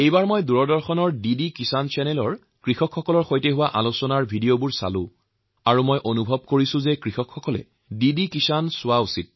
এই বাৰ মই দূৰদৰ্শনেৰ ডি ডি কিষাণ চেনেলত কৃষক বন্ধুসকলৰ সৈতে যে আলোচনা কৰিছিলো সেই অনুষ্ঠানৰ ভিডিঅত মই দেখিছো আৰু মোৰ বিশ্বাস এই যে দূৰদৰ্শনেৰ এই ডি ডি কিষাণ চেনেল সকলো কৃষকেই চোৱা উচিৎ